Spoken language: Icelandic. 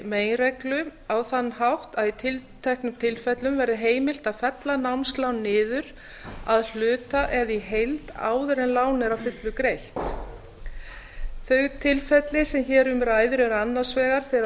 meginreglu á þann hátt að í tilteknum tilfellum verði heimilt að fella námslán niður að hluta eða í heild áður en lán er að fullu greitt þau tilfelli sem hér um ræðir eru annars vegar þegar